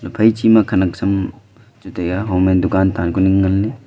phaichi ma khanak sam chu taiya homme dukaan tanku ning leley.